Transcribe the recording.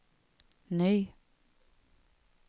ny